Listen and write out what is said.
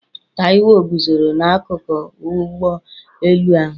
Taiwo guzoro n'akụkụ ụgbọ elu ahụ.